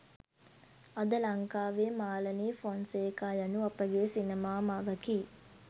අද ලංකාවේ මාලනි ෆොන්සේකා යනු අපගේ සිනමා මවකි